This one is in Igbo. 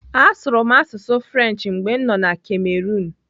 Asụrụ m asụsụ French mgbe m nọ Cameroon.